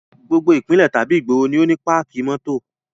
Gbogbo ìpínlẹ̀ tàbí ìgboro ni ó ní páàkì mótò